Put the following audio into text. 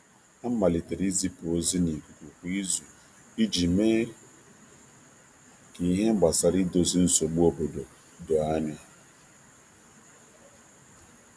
A malitere izipu ozi email kwa izu i ji melite mkpebi gosiiri e gosi gbasara ndozi nsogbu ndị obodo.